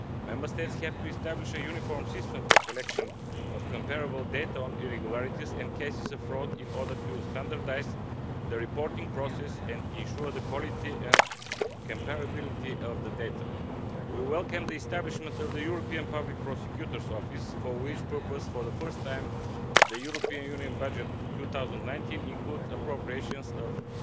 Member States have to establish a uniform system for collection of comparable data on irregularities in cases of fraud in order to standardise the reporting process and ensure the quality and comparability of the data. We welcome the establishment of the European Public Prosecutor's Office, for which purpose, for the first time, the European Union budget 2019 includes appropriations of EUR